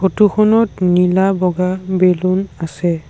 Photo খনত নীলা বগা বেলুন আছে।